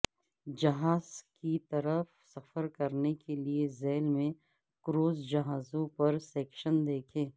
جہاز کی طرف سفر کے لئے ذیل میں کروز جہازوں پر سیکشن دیکھیں